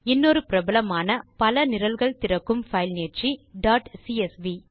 இன்னொரு பிரபலமான பல நிரல்கள் திறக்கும் பைல் நீட்சி டாட் சிஎஸ்வி